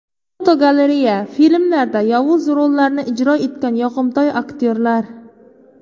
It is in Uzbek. Fotogalereya: Filmlarda yovuz rollarni ijro etgan yoqimtoy aktyorlar.